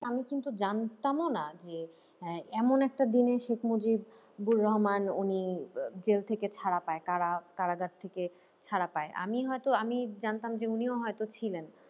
আমি কিন্তু জানতামও না যে আহ এমন একটা দিনে শেখ মুজিবুর রহমান উনি জেল থেকে ছাড়া পায় কারা কারাগার থেকে ছাড়া পায় আমি হয়তো আমি জানতাম যে উনিও হয়তো ছিলেন।